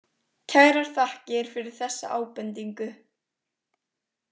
Kærar þakkir fyrir þessa ábendingu.